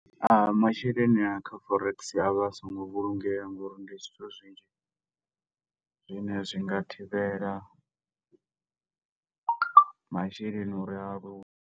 Masheleni a kha forex a vha a songo vhulungea, ngo uri ndi zwithu zwinzhi zwi ne zwi nga thivhela masheleni uri a luge.